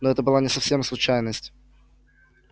ну это была не совсем случайность